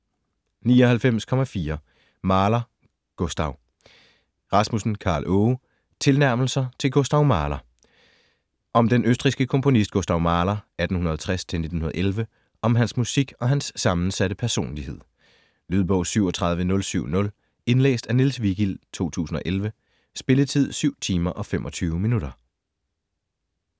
99.4 Mahler, Gustav Rasmussen, Karl Aage: Tilnærmelser til Gustav Mahler Om den østrigske komponist Gustav Mahler (1860-1911), om hans musik og hans sammensatte personlighed. Lydbog 37070 Indlæst af Niels Vigild, 2011. Spilletid: 7 timer, 25 minutter.